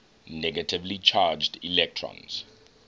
negatively charged electrons